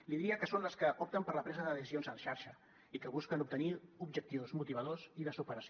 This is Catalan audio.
li diria que són les que opten per la presa de decisions en xarxa i que busquen obtenir objectius motivadors i de superació